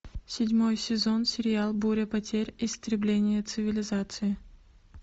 седьмой сезон сериал буря потерь истребление цивилизации